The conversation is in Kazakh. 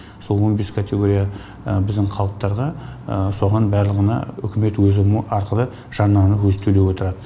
сол он бес категория біздің халықтарға соған барлығына үкімет өзі арқылы жарнаны өзі төлеп отырады